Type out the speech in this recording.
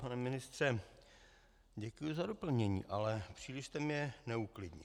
Pane ministře, děkuji za doplnění, ale příliš jste mne neuklidnil.